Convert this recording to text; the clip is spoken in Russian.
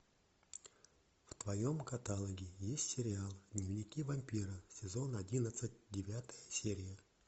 в твоем каталоге есть сериал дневники вампира сезон одиннадцать девятая серия